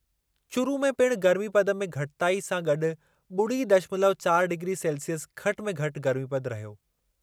चूरू में पिण गर्मीपदु में घटिताई सां गॾु ॿुड़ी दशमलव चारि डिग्री सेल्सिअस घटि में घटि गर्मीपदु रहियो।